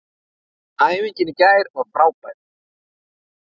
Æfingin í gær var frábær.